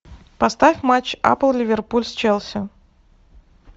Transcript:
поставь матч апл ливерпуль с челси